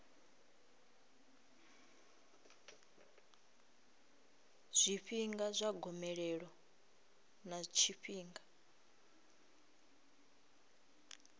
zwifhinga zwa gomelelo ḽa tshifhinga